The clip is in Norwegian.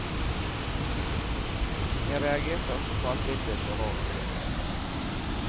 Jeg reagerte også på at bildet så rart ut.